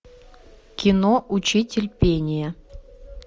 кино учитель пения